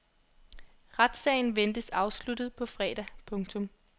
Retssagen ventes afsluttet på fredag. punktum